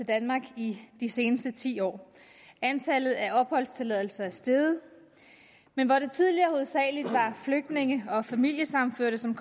danmark i de seneste ti år antallet af opholdstilladelser er steget men hvor det tidligere hovedsagelig var flygtninge og familiesammenførte som